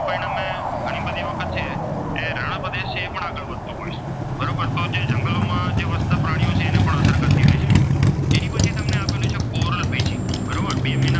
રણ પ્રદેશ છે એ પણ આગળ વધતો હોય છે. બરોબર છે તો જંગલોમાં વસતા છે પ્રાણીઓ હોય છે તેમને પણ અસર થતી હોય છે. જ્યારે પછી તમને આપેલું છે કોરલ બ્રિજ બરોબર.